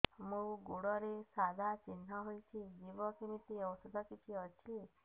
ମୋ ଗୁଡ଼ରେ ସାଧା ଚିହ୍ନ ହେଇଚି ଯିବ କେମିତି ଔଷଧ କିଛି ଅଛି